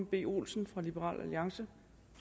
b olsen fra liberal alliance